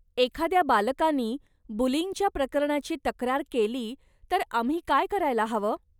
एखाद्या बालकानी बुलींगच्या प्रकरणाची तक्रार केली तर आम्ही काय करायला हवं?